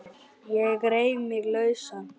Ég reif mig lausan.